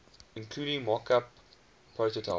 including mockup prototype